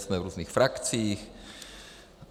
Jsme v různých frakcích.